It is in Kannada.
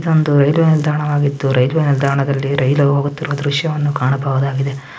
ಇದೊಂದು ರೈಲ್ವೆ ನಿಲ್ದಾಣವಾಗಿದ್ದು ರೈಲ್ವೆ ನಿಲ್ದಾಣದಲ್ಲಿ ರೈಲು ಹೋಗುತ್ತಿರುವ ದೃಶ್ಯವನ್ನು ಕಾಣಬಹುದಾಗಿದೆ.